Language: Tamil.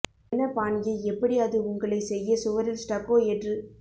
என்ன பாணியை எப்படி அது உங்களை செய்ய சுவரில் ஸ்டக்கோ ஏற்று